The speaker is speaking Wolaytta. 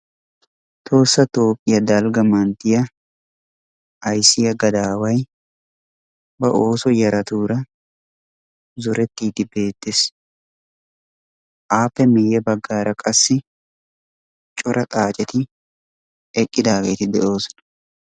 Tohossa Toophphiya dalgga manttiya ayssiya gadaaway ba ooso yaratuura zorettiiddi beettees. Appe miyye baggaara qassi cora xaaceti eqqidaageeti de'oosona.